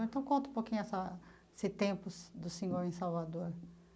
Então, conta um pouquinho essa esse tempo do do senhor em Salvador.